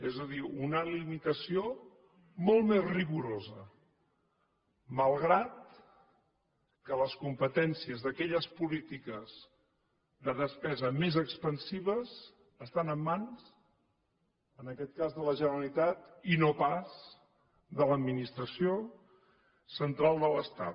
és a dir una limitació molt més rigorosa malgrat que les competències d’aquelles polítiques de despesa més expansives estan en mans en aquest cas de la generalitat i no pas de l’administració central de l’estat